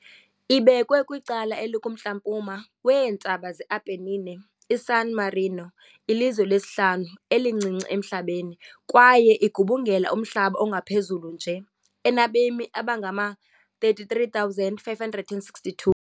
Ibekwe kwicala elikumntla-mpuma weeNtaba ze-Apennine, iSan Marino lilizwe lesihlanu-elincinci emhlabeni kwaye igubungela umhlaba ongaphezulu nje , enabemi abangama-33,562.